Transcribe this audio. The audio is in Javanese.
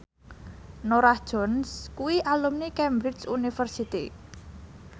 Norah Jones kuwi alumni Cambridge University